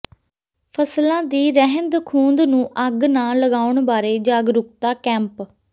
ਫ਼ਸਲਾਂ ਦੀ ਰਹਿੰਦ ਖੂਹੰਦ ਨੂੰ ਅੱਗ ਨਾ ਲਗਾਉਣ ਬਾਰੇ ਜਾਗਰੂਕਤਾ ਕੈਂਪ